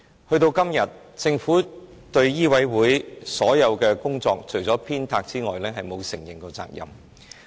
時至今日，政府對醫委會的所有工作，除了鞭策外，從沒承認責任。